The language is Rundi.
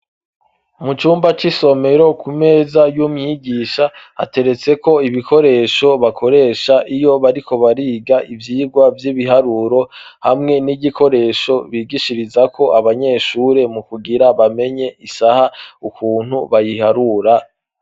Mu cumba c'isomero ku meza y'umwigisha, hateretseko ibikoresho bakoresha iyo bariko bariga ivyigwa vy'ibiharuro, hamwe n'igikoresho bigishirizako abanyeshure mu kugira bamenye isaha ukuntu bayiharura.